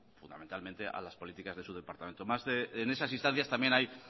fundamentalmente a las políticas de su departamento en esas instancias también hay